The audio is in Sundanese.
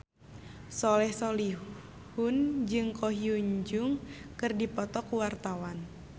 Soleh Solihun jeung Ko Hyun Jung keur dipoto ku wartawan